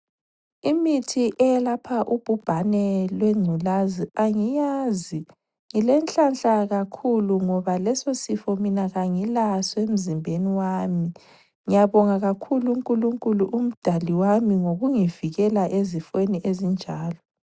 Imithi eyelapha ubhubhane lwengculazi angiyazi. Ngile nhlanhla kakhulu ngoba leso sifo mina kangilaso emzimbeni wami. Ngiyabonga kakhulu uNkulunkulu umdali wami ngokungivikela ezifeni ezinjalo.